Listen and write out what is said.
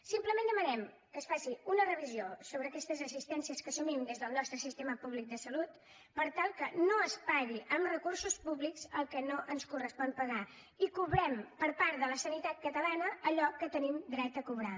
simplement demanem que es faci una revisió sobre aquestes assistències que assumim des del nostre sistema públic de salut per tal que no es pagui amb recursos públics el que no ens correspon pagar i cobrem per part de la sanitat catalana allò que tenim dret a cobrar